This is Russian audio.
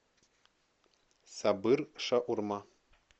сабыр шаурма